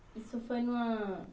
Isso foi em uma...